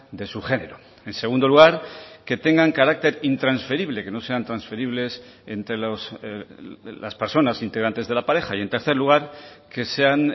de su género en segundo lugar que tengan carácter intransferible que no sean transferibles entre las personas integrantes de la pareja y en tercer lugar que sean